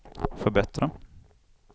förbättra